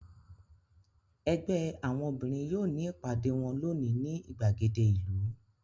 Ẹgbẹ́ àwọn obìnrin yóò ní ìpàdé wọn lónìí ní ìgbàgede ìlú.